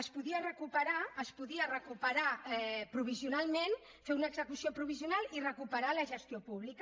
es podia recuperar es podia recuperar provisionalment fer una execució provisional i recuperar la gestió pública